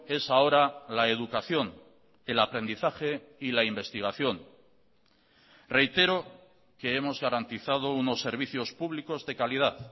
es ahora la educación el aprendizaje y la investigación reitero que hemos garantizado unos servicios públicos de calidad